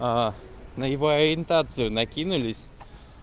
а на его ориентацию накинулись